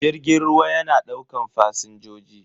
Jirgin ruwa yana daukan fasinjoji.